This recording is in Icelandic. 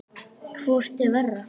Hvort er verra?